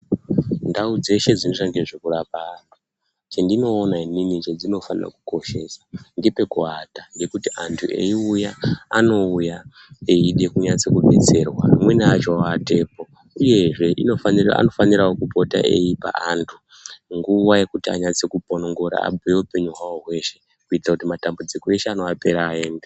Ndau dzeshe dzinoita nezvekurapa anhu, chendinoona inini chedzinofanirwe kukoshesa ngepekuwata, ngekuti anhu eiuya anouya eide kunatso betserwa amweni acho owatepo, uyezve anofanirawo kupote eipa wandu nguwa yekuti anatse kuponongura peupenyu hwawo hweshe, kuitira kuti matambudziko anowateera aende.